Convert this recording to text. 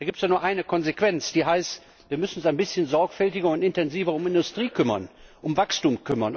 Da gibt es doch nur eine Konsequenz, und die heißt Wir müssen uns ein bisschen sorgfältiger und intensiver um die Industrie kümmern, um das Wachstum.